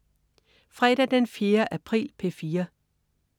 Fredag den 4. april - P4: